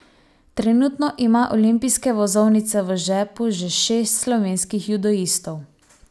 Trenutno ima olimpijske vozovnice v žepu že šest slovenskih judoistov.